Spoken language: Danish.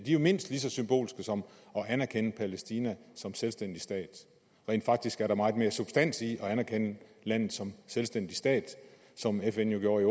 jo mindst lige så symbolsk som at anerkende palæstina som selvstændig stat rent faktisk er der meget mere substans i at anerkende landet som selvstændig stat som fn jo gjorde i